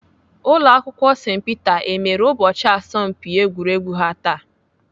Ụlọakwụkwọ St Peter emere ụbọchị asọmpi egwuregwu ha taa?